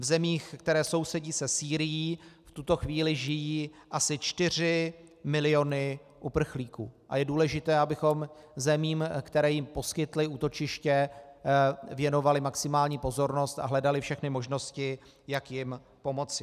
V zemích, které sousedí se Sýrií, v tuto chvíli žijí asi 4 miliony uprchlíků a je důležité, abychom zemím, které jim poskytly útočiště, věnovali maximální pozornost a hledali všechny možnosti, jak jim pomoci.